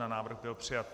Návrh byl přijat.